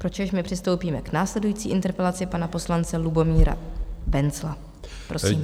Pročež my přistoupíme k následující interpelaci pana poslance Lubomíra Wenzla.